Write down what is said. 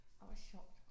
Orh hvor sjovt